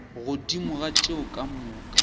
godimo ga tšeo ka moka